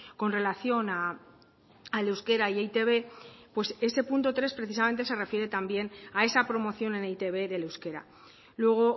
con relación al euskera y eitb pues ese punto tres precisamente se refiere también a esa promoción en eitb del euskera luego